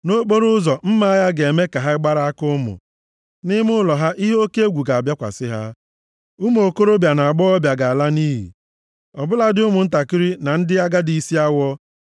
Nʼokporoụzọ, mma agha ga-eme ka ha gbara aka ụmụ, nʼime ụlọ ha, ihe oke egwu ga-abịakwasị ha. Ụmụ okorobịa na agbọghọbịa ga-ala nʼiyi, ọ bụladị ụmụntakịrị na ndị agadi isi awọ.